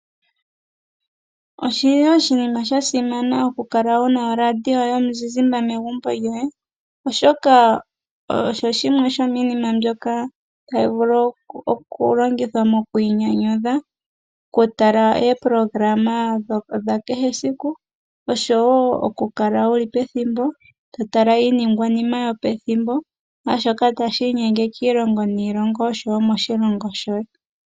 Oshili oshinima sha simana oku kala wuna o radio yomuzizimba megumbo lyoye, oshoka osho shimwe shomiinima mbyoka tayi vulu oku longithwa mokwiinyanyudha, oku tala eepolohalama dha kehe siku, oshowo oku kala wuli pethimbo to tala iiningwanima yo pethimbo naashoka tashi inyenge kiilongo niilongo oshowo moshilongo shoye.